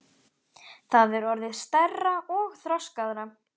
Það er orðið stærra og þroskaðra.